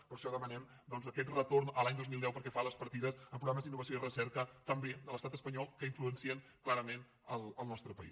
i per això demanem doncs aquest retorn a l’any dos mil deu pel que fa a les partides en programes d’innovació i recerca també de l’estat espanyol que influencien clarament el nostre país